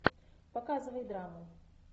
показывай драму